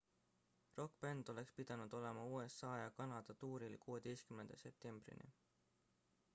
rokkbänd oleks pidanud olema usa ja kanada tuuril 16 septembrini